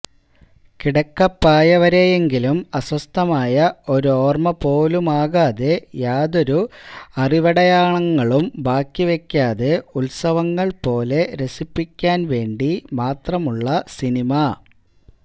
കിടക്കപ്പായവരെയെങ്കിലും അസ്വസ്ഥമായ ഒരോർമ്മപോലുമാകാതെ യാതൊരു അറിവടയാളങ്ങളും ബാക്കിവെയ്ക്കാതെ ഉത്സവങ്ങൾപോലെ രസിപ്പിക്കാൻ വേണ്ടിമാത്രമുളള സിനിമ